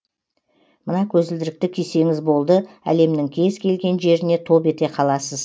мына көзілдірікті кисеңіз болды әлемнің кез келген жеріне топ ете қаласыз